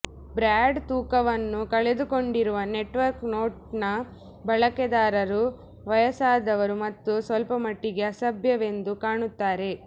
broad ತೂಕವನ್ನು ಕಳೆದುಕೊಂಡಿರುವ network ನೋಟ್ನ ಬಳಕೆದಾರರು ವಯಸ್ಸಾದವರು ಮತ್ತು ಸ್ವಲ್ಪಮಟ್ಟಿಗೆ ಅಸಭ್ಯವೆಂದು ಕಾಣುತ್ತಾರೆ